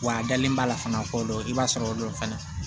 Wa a dalen b'a la fana ko dɔ i b'a sɔrɔ o don fana